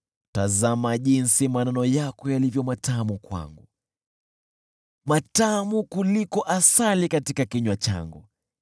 Tazama jinsi maneno yako yalivyo matamu kwangu, matamu kuliko asali katika kinywa changu!